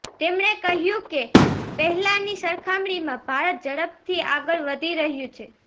તેમણે કહ્યું કે પહેલાંની સરખામણીમાં ભારત ઝડપથી આગળ વધી રહ્યું છે